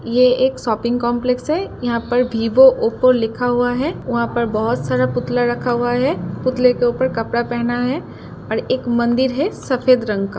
ये एक shopping complex है। यहाँ पर विवो ओप्पो लिखा हुआ है। वहाँ पर बोहत सारा पुतला रखा हुआ है। पुतले के ऊपर कपड़ा पहना है और एक मंदिर है सफेद रंग का।